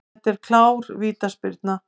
Þetta var klár vítaspyrna.